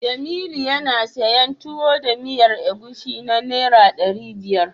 Jamilu yana siyan Tuwo da miyar agushi na Naira ɗari biyar.